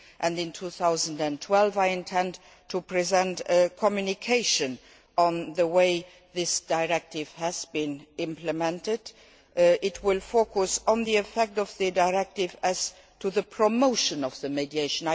In 2012, I intend to present a communication on the way this directive has been implemented. It will focus on the effect of the directive with regard to the promotion of mediation.